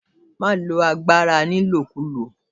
Má lo agbára ni ìlòkulò!